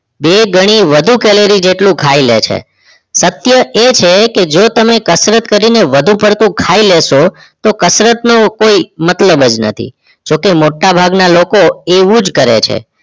બે ગણી વધુ કેલેરી જેટલું ખાય લે છે શક્ય એ છે જો તમે કસરત કરી ને વધુ પડતું ખાય લેશો તો કસરત નો કોઈ મતલબ જ નથી જોકે મોટા ભાગ ના લોકો એવું જ કરે છે